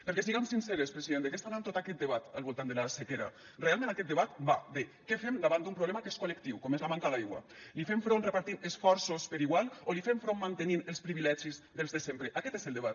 perquè siguem sinceres president de què està anant tot aquest debat al voltant de la sequera realment aquest debat va de què fem davant d’un problema que és col·lectiu com és la manca d’aigua hi fem front repartint esforços per igual o hi fem front mantenint els privilegis dels de sempre aquest és el debat